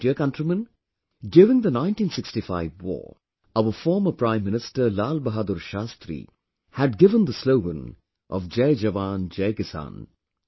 My dear countrymen, during the 1965 war, our former Prime Minister Lal Bahadur Shastri had given the slogan of Jai Jawan, Jai Kisan